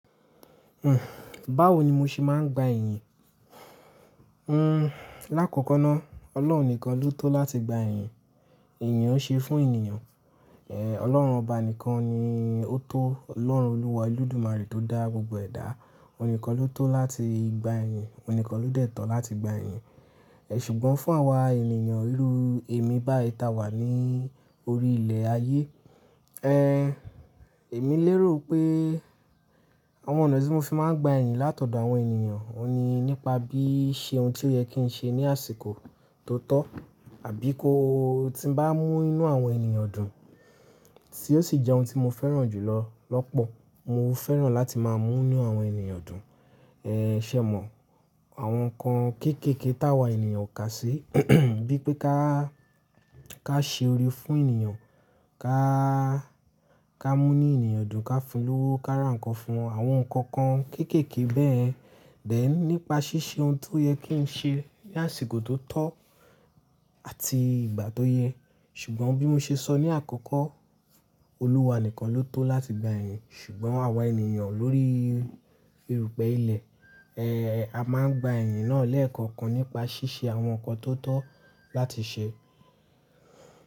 Hhm, báwo ni mo ṣe máa ń gba iyìn? Hmm, lákọọkọ náà, Ọlọ́run nìkan ló tọ láti gba iyìn. Iyìn ò n ṣe fún ènìyàn. Ẹ̀, Ọlọ́run ọba nìkan ni ó tó, Ọlọ́run Olúwa Olódùmarè tó dá gbogbo ẹ̀dá, òun nìkan ló tó láti gba iyìn, òun nìkan ló dẹ̀ tọ láti gba iyìn. Ẹ ṣùgbọ́n fún àwa ènìyàn ìru èmi báyi táa wà ní orí ilẹ̀ ayé, ẹẹ́ èmi lérò pé àwọn ọ̀nà tí mo fi máa ń gba ẹ̀yìn látọ̀dọ̀ àwọn ènìyàn, òun ni nípa bí i ṣe ohun tí ó yẹ kí n ṣe ní àsìkò tó tọ́ àbí kó tí n bá mú inú àwọn ènìyàn dùn tí ó sì jẹ́ ohun tí mo fẹ́ràn jù lọ lọ́pọ̀. Mo fẹ́ràn láti máa mú inú àwọn ènìyàn dùn. Ẹ ṣé mọ̀, àwọn nǹkan kéékèèké táa wa ènìyàn o kà sí, bíi pé ká, ká ṣe ori fún ènìyàn, ká, ká mú inú ènìyàn dùn, káfun lówó, ká rán nǹkan fún wọn, àwọn nǹkan kan kéékèèké bẹ́ẹ̀yẹn. Then nípa ṣíṣe ohun tí ó yẹ kí n ṣe ní àsìkò tó tọ́ àti ìgbà tó yẹ. Ṣùgbọ́n bí mo ṣe sọ ní àkọ́kọ́, Olúwa nìkan ló tó láti gba ẹ̀yìn. Ṣùgbọ́n àwa ènìyàn lórí erùpẹ̀ ilẹ̀, ẹẹ́ a máa ń gba iyìn náà lẹ́ẹ̀kọ̀kan nípa ṣíṣe àwọn nǹkan tó tọ́ láti ṣe.